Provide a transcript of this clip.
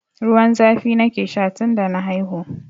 Ruwan zafi nake sha tun da na haihu.